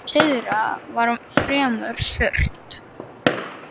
Syðra var fremur þurrt.